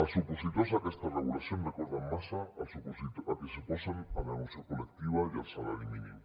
els opositors a aquesta regulació em recorden massa els que s’oposen a la negociació col·lectiva i al salari mínim